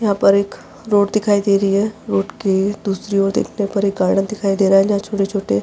यहाँ पर एक रोड दिखाई दे रही है रोड के दूसरी ओर देखने पर एक गार्डन दिखाई दे रहा है जहाँ छोटे-छोटे --